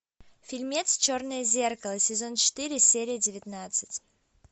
фильмец черное зеркало сезон четыре серия девятнадцать